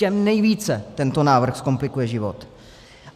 Těm nejvíce tento návrh zkomplikuje život.